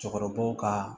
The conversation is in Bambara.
Cɛkɔrɔbaw ka